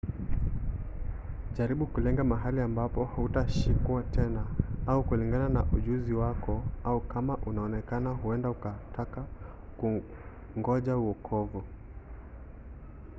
jaribu kulenga mahali ambapo hutashikwa tena au kulingana na ujuzi wako au kama umeonekana huenda ukataka kungoja uokovu